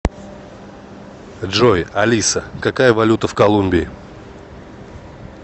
джой алиса какая валюта в колумбии